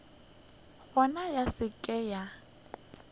gona ya se ke ya